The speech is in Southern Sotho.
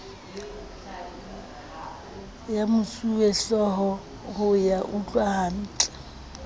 ya mosuwehlooho ho ya utlwahantle